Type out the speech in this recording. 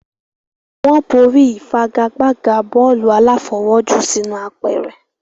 wọ́n borí ìfagagbága bọ́ọ̀lù aláfọwọ́jù sínú apẹ̀rẹ̀.